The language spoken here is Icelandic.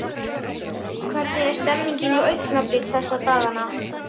Hvernig er stemningin hjá Augnablik þessa dagana?